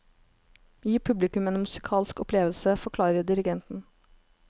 Gi publikum en musikalsk opplevelse, forklarer dirigenten.